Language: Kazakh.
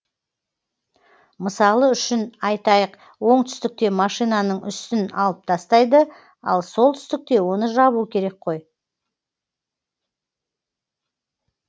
мысалы үшін айтайық оңтүстікте машинаның үстін алып тастайды ал солтүстікте оны жабу керек қой